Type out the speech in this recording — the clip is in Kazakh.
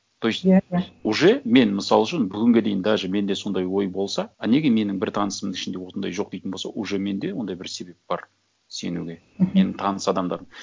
то есть иә иә уже мен мысалы үшін бүгінге дейін даже менде сондай ой болса а неге менің бір танысымның ішінде осындай жоқ дейтін болсам уже менде ондай бір себеп бар сенуге мхм менің таныс адамдарым